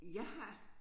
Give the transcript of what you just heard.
Jeg har